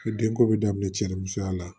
I den ko bɛ daminɛ cɛ ni musoya la